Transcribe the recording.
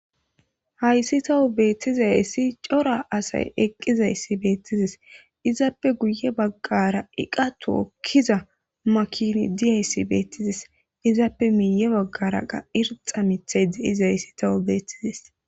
hayssi tawu beettizayssi cora asay eqqizayssi beettizes izaappe guye baggara iqa tookkiza makini diyayssi beettizes izaappe miiye baggara qa irxa mithay de7izayssi tawu beettizis